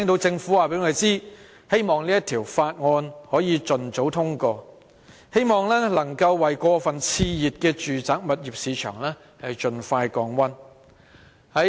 政府一直說，希望可以盡早通過《條例草案》，為過分熾熱的住宅物業市場盡快降溫。